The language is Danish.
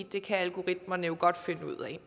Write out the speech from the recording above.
det kan algoritmerne jo godt finde ud af